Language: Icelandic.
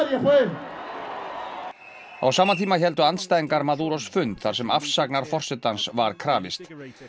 á sama tíma héldu andstæðingar fund þar sem afsagnar forsetans var krafist